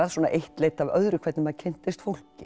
eitt leiddi af öðru hvernig maður kynntist fólki